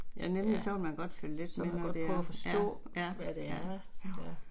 Ja nemlig så vil man følge lidt med hvad det er, ja, ja, ja, jo